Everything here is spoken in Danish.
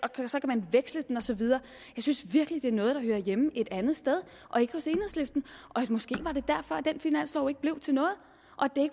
og så kan man veksle den og så videre jeg synes virkelig det er noget der hører hjemme et andet sted og ikke hos enhedslisten måske var det derfor den finanslov ikke blev til noget